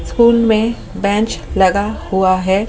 School में bench लगा हुआ है।